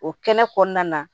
O kɛnɛ kɔnɔna na